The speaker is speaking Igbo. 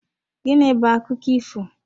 Gịnị bu akụkọ ifo?